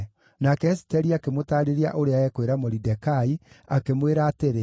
Nake Esiteri akĩmũtaarĩria ũrĩa ekwĩra Moridekai, akĩmwĩra atĩrĩ,